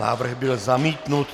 Návrh byl zamítnut.